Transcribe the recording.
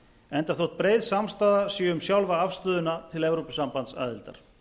enda þótt breið samstaða sé um sjálfa afstöðuna til evrópusambandsaðildar